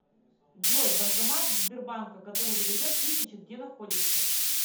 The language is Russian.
джой банкомат сбербанка который выдает тысячи где находится